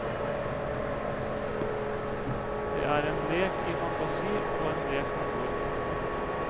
Det er en lek i fantasi og en lek med ord.